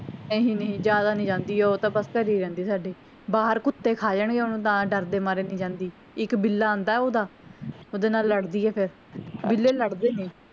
ਨਹੀਂ ਨਹੀਂ ਜਿਆਦਾ ਨੀ ਜਾਂਦੀ ਓਹ ਤਾਂ ਬਸ ਘਰੇ ਹੀ ਰਹਿੰਦੀ ਸਾਡੇ ਬਾਹਰ ਕੁੱਤੇ ਖਾ ਲੈਣ ਗਏ ਓਹਨੂੰ ਤਾਂ ਡਰ ਦੇ ਮਾਰੇ ਨੀ ਜਾਂਦੀ ਇੱਕ ਬਿੱਲਾ ਆਂਦਾ ਓਹਦਾ ਓਹਦੇ ਨਾਲ ਲੱਡ ਦੀ ਆ ਫੇਰ ਬਿੱਲੇ ਲੜ ਦੇ ਨੇ